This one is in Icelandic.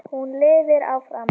Hún lifir áfram.